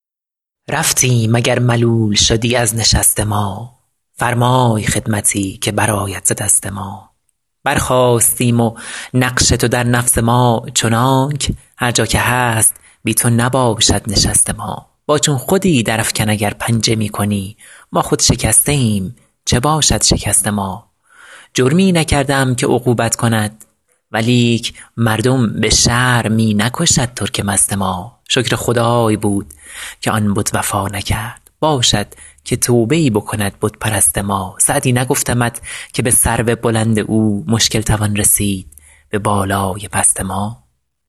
رفتیم اگر ملول شدی از نشست ما فرمای خدمتی که برآید ز دست ما برخاستیم و نقش تو در نفس ما چنانک هر جا که هست بی تو نباشد نشست ما با چون خودی درافکن اگر پنجه می کنی ما خود شکسته ایم چه باشد شکست ما جرمی نکرده ام که عقوبت کند ولیک مردم به شرع می نکشد ترک مست ما شکر خدای بود که آن بت وفا نکرد باشد که توبه ای بکند بت پرست ما سعدی نگفتمت که به سرو بلند او مشکل توان رسید به بالای پست ما